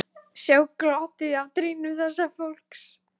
Sjá glottið á trýnum þessa fólks.